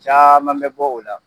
Caman bɛ bɔ o la